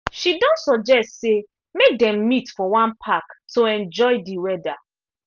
she don suggest say make them meet for one park to enjoy d weather